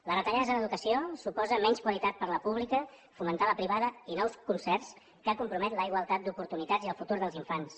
les retallades en educació suposen menys qualitat per a la pública fomentar la privada i nous concerts que comprometen la igualtat d’oportunitats i el futur dels infants